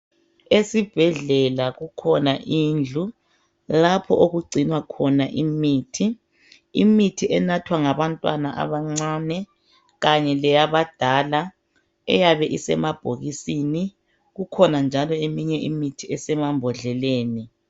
Esibhedlela kukhona indlu lapho okugcinwa khona imithi. Imithi enathwa ngabantwana abancane kanye leyabadala eyabe isemabhokisini kukhona njalo eminye imithi esemambodleleni.